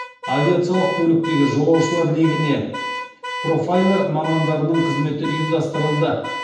авиациялық көліктегі жолаушылар легіне профайлер мамандарының қызметі ұйымдастырылды